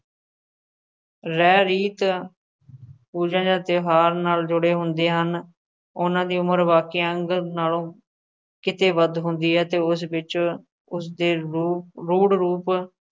ਰਹਿ-ਰੀਤ ਪੂਜਾ ਜਾਂ ਤਿਉਹਾਰ ਨਾਲ ਜੁੜੇ ਹੁੰਦੇ ਹਨ, ਉਹਨਾ ਦੀ ਉਮਰ ਬਾਕੀਆਂ ਨਾਲੋਂ ਕਿਤੇ ਵੱਧ ਹੁੰਦੀ ਹੈ ਅਤੇ ਉਸ ਵਿੱਚ ਉਸਦੀ ਰੂਪ ਰੂਪ